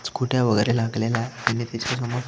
स्कूटया वगैरे लागलेल्या आहे आणि त्याच्या समोर--